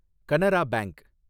Canara bank